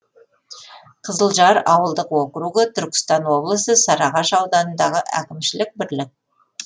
қызылжар ауылдық округі түркістан облысы сарыағаш ауданындағы әкімшілік бірлік